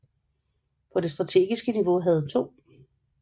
På det strategiske niveau havde 2